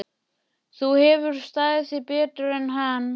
Þú hefur staðið þig betur en hann.